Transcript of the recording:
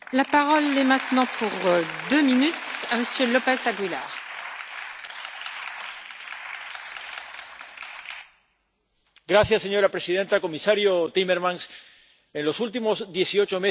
Señora presidenta, comisario Timmermans, en los últimos dieciocho meses seis coches bomba han explotado en el país más pequeño de la Unión Europea, que no tiene un problema de criminalidad generalizada Malta.